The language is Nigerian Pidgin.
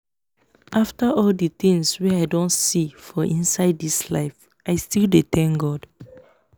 after all the things wey i don see for inside this life i still dey thank god